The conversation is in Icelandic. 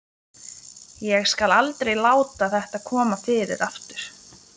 Ég skal aldrei láta þetta koma fyrir aftur.